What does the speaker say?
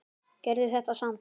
Gerðu þetta samt.